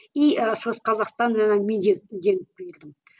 и шығыс қазақстан жаңа мен жеңіп жеңіп келдім